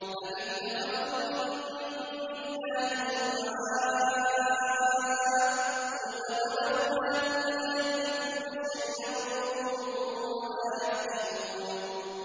أَمِ اتَّخَذُوا مِن دُونِ اللَّهِ شُفَعَاءَ ۚ قُلْ أَوَلَوْ كَانُوا لَا يَمْلِكُونَ شَيْئًا وَلَا يَعْقِلُونَ